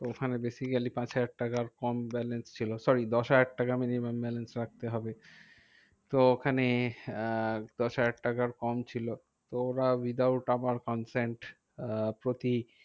ওখানে basically পাঁচ হাজার টাকার কম balance ছিল sorry দশ হাজার টাকা minimum balance রাখতে হবে। তো ওখানে আহ দশ হাজার টাকার কম ছিল। তো ওরা without আমার consent আহ প্রতি